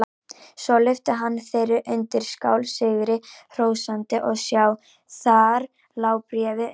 Svo lyfti hann þeirri undirskál sigri hrósandi og sjá: Þar lá bréfið undir!